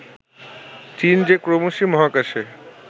চীন যে ক্রমশই মহাকাশে